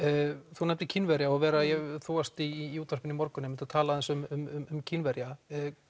þú nefnir Kínverja og Vera þú varst í útvarpinu í morgun og talaðir aðeins um Kínverja